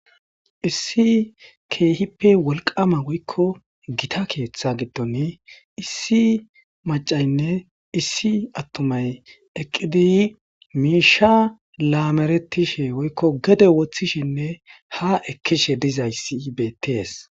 Issi keehippe wolqama woykko gita keeththa giddon issi macaynne issi attumay eqqidi miisha laameretishe woykko gede woththishinne ha ekkishe dizayssibeties.